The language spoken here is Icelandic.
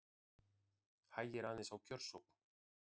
Hægir aðeins á kjörsókn